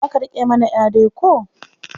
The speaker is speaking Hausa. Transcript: Za ka riƙa mana ƴa dai ko?